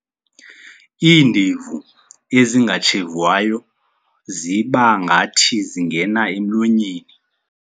Iindevu ezingatshevwayo ziba ngathi zingena emlonyeni.